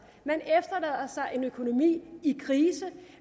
man efterlader sig en økonomi i krise